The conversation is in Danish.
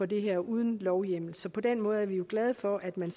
det her uden lovhjemmel så på den måde er vi jo glade for at man